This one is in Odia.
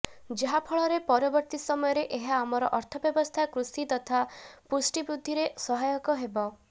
ଯାହାଫଳରେ ପରବର୍ତ୍ତୀ ସମୟରେ ଏହା ଆମର ଅର୍ଥବ୍ୟବସ୍ଥା କୃଷି ତଥା ପୁଷ୍ଟି ବୃଦ୍ଧିରେ ସହାୟକ ହେବ